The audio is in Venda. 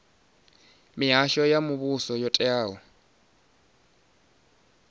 mihasho ya muvhuso yo teaho